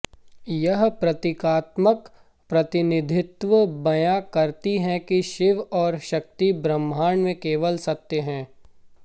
यह प्रतीकात्मक प्रतिनिधित्व बयां करती है कि शिव और शक्ति ब्रह्मांड में केवल सत्य हैं